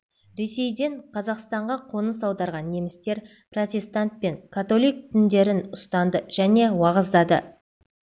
ресейден қазақстанға қоныс аударған немістер протестант пен католик діндерін ұстанды және уағыздады